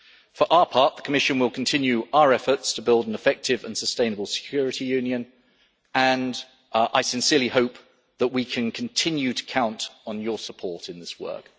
For our part, the Commission will continue our efforts to build an effective and sustainable Security Union, and I sincerely hope that we can continue to count on your support in this work.